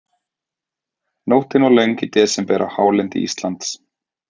Nóttin var löng í desember á hálendi Íslands.